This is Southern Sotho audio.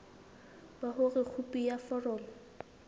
ba hore khopi ya foromo